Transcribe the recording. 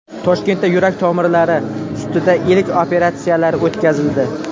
Toshkentda yurak tomirlari ustida ilk operatsiyalar o‘tkazildi.